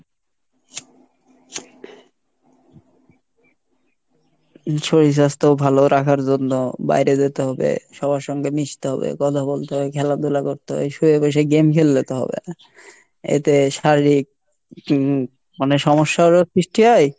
শরীর স্বাস্থ ভালো রাখার জন্য বাইরে যেতে হবে সবার সঙ্গে মিশতে হবে কথা বলতে হয় খেলাধুলা করতে হয়, শুয়ে বসে game খেললে তো হবে না, এতে শারীরিক হম মানে সমস্যারও সৃষ্টি হয়।